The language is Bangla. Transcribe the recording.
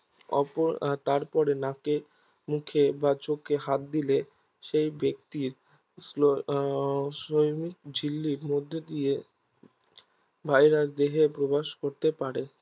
অপর তারপরে নাকে মুখে বা চোখে হাত দিলে সেই ব্যক্তির ঝিল্লির মধ্য দিয়ে ভাইরাস দেহে প্রবেশ করতে পারে